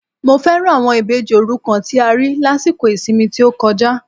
Mo fẹ́ràn àwọn Ìbejì òrukàn tí a rí lásìkò ìsinmi tí ó kọjá